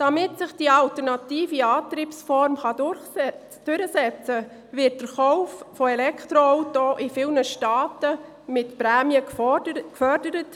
Damit sich die alternative Antriebsform durchsetzt, wird der Verkauf von Elektroautos in vielen Staaten mit Prämien gefördert.